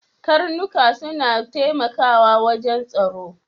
Karnika suna taimakawa wajan tsaro.